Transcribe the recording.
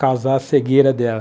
causar a cegueira dela.